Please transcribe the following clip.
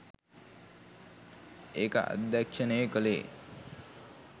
ඒක අධ්‍යක්‍ෂණය කළේ